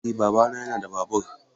Eh babana yana da babur.